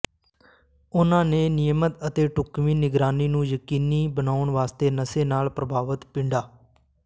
ਉਨ੍ਹਾਂ ਨੇ ਨਿਯਮਤ ਅਤੇ ਢੁਕਵੀਂ ਨਿਗਰਾਨੀ ਨੂੰ ਯਕੀਨੀ ਬਨਾਉਣ ਵਾਸਤੇ ਨਸ਼ੇ ਨਾਲ ਪ੍ਰਭਾਵਤ ਪਿੰਡਾਂ